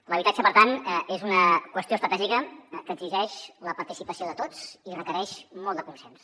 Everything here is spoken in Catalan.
l’habitatge per tant és una qüestió estratègica que exigeix la participació de tots i requereix molt de consens